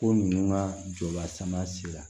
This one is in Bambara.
Ko ninnu ka jɔ lasama sera